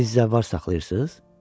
Siz zəvvar saxlayırsınız?